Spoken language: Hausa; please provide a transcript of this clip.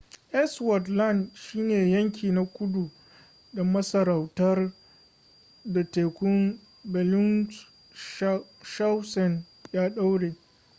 ellsworth land shine yanki na kudu da masarautar da tekun bellingshausen ya daure